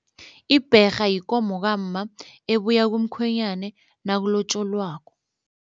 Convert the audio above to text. Ibherha yikomo kamma ebuya kumkhwenyane nakulotjolwako.